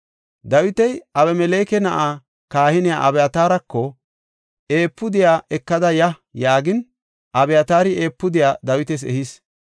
Dawiti Abimeleke na7aa kahiniya Abyataarako, “Efuudiya ekada ya” yaagin, Abiyatari efuudiya Dawitas ehis.